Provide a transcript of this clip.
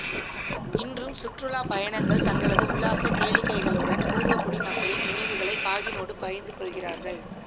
இன்றும் சுற்றுலா பயணங்கள் தங்களது உல்லாச கேளிக்கைகளுடன் பூர்வகுடி மக்களின் நினைவுகளை காகினோடு பகிர்ந்து கொள்கிறார்கள்